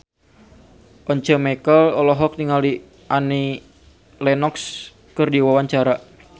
Once Mekel olohok ningali Annie Lenox keur diwawancara